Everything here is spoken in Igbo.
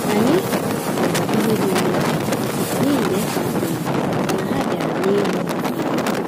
Anyị họọrọ nri dị ọnụ ala, n'ihi n'efe adịghị, màkà na ha biara n'eyighi-eyi.